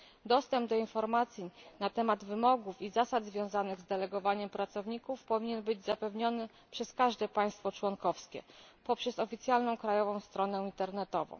Dostęp do informacji na temat wymogów i zasad związanych z delegowaniem pracowników powinien być zapewniony przez każde państwo członkowskie poprzez oficjalną krajową stronę internetową.